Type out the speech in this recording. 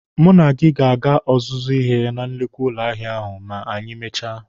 Mụ na gị ga-aga ọzụzụ ahịa na nnukwu ụlọ ahịa ahụ ma anyị mechaa.